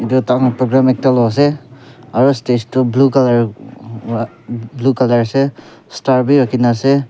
edu tahan ekta program loi ase aro stage toh blue colour ase aro star bi rakhina ase.